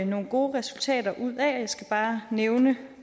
nogle gode resultater ud af og jeg skal bare nævne